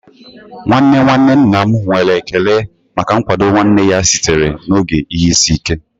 Nwanne nwanne nna m nwere ekele maka nkwado nwanne ya sitere n'oge ihe isi ike